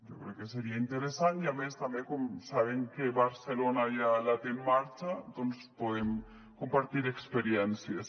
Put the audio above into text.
jo crec que seria interessant i a més també com saben que barcelona ja la té en marxa doncs podem compartir experiències